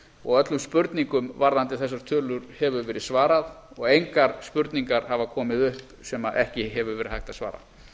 og öllum spurningum varðandi þessar tölur hefur verið svarað og engar spurningar hafa komið upp sem ekki hefur verið hægt að svara